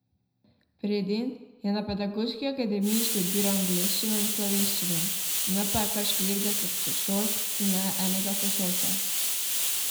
Predin je na pedagoški akademiji študiral angleščino in slovenščino, imel pa je kar štirideset sošolk in le enega sošolca.